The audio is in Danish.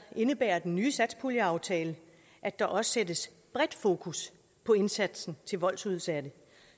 indebærer den ny satspuljeaftale at der også sættes bredt fokus på indsatsen til voldsudsatte